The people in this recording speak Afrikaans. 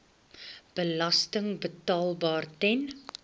belasting betaalbaar ten